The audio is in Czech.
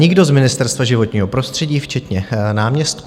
Nikdo z Ministerstva životního prostředí včetně náměstků.